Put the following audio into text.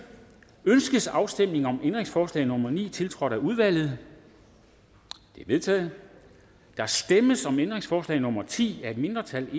ønskes afstemning om ændringsforslag nummer ni tiltrådt af udvalget det er vedtaget der stemmes om ændringsforslag nummer ti af et mindretal